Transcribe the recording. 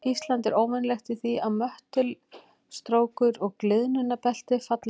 Ísland er óvenjulegt í því að möttulstrókur og gliðnunarbelti falli saman.